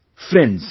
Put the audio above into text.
Friends,